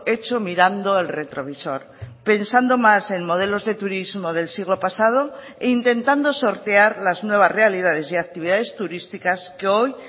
hecho mirando el retrovisor pensando más en modelos de turismo del siglo pasado e intentando sortear las nuevas realidades y actividades turísticas que hoy